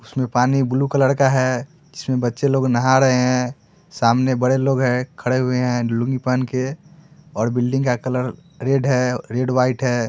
इसमें पानी blue colour का है जिसमें बच्चे लोग नाहा रहे है सामने बड़े लोग है खड़े हुए है लुंगी पेहन के और बिल्डिंग का कलर रेड है रेड वाइट है।